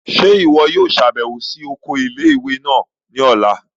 Ṣe iwọ yoo ṣabẹwo si oko ile-iwe naa ni ọla?